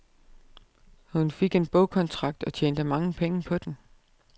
Hun fik en bogkontrakt og tjente mange penge på den.